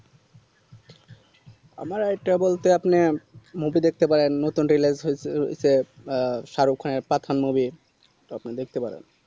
আমার idea বলতে আপনি movie দেখতে পারেন নতুন release হয়েছে সে সারুক খানের পাঠান movie তো আপনি দেখতে পারেন